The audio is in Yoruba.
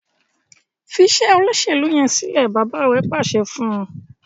Fí Ṣe Olóṣèlú yén silẹ! bàbá rẹ pàṣẹ fún.